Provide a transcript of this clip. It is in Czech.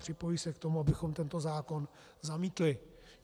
Připojují se k tomu, abychom tento zákon zamítli.